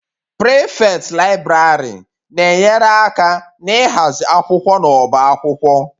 Prefect Library na-enyere aka n'ịhazi akwụkwọ n'ọbá akwụkwọ.